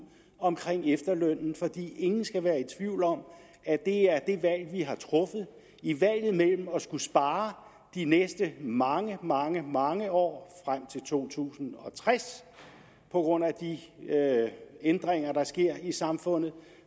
om efterlønnen for ingen skal være i tvivl om at det er det valg vi har truffet i valget mellem at skulle spare de næste mange mange mange år frem til to tusind og tres på grund af de ændringer der sker i samfundet